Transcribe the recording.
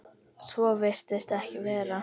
Svo virðist ekki vera.